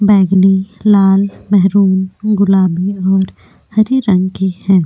बैगनी लाल मेहरून गुलाबी और हरे रंग की है।